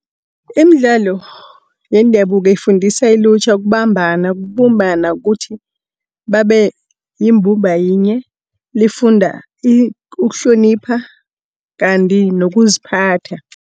Imidlalo yendabuko ifundisa ilutjha ukubambana, ukubumbana kuthi babe yimbumba yinye. Lifunda ukuhlonipha kanti nokuziphatha.